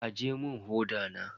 Aje mun hoda na.